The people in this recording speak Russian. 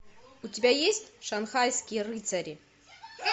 у тебя есть шанхайские рыцари